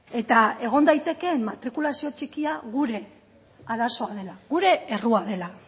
eta egon daitekeen matrikulazio txikia gure arazoa dela gure errua dela